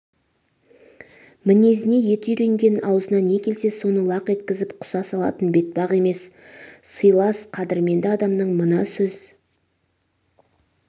мінезіне еті үйренген аузына не келсе соны лақ еткізіп құса салатын бетпақ емес сыйлас қадірменді адамының мына сөз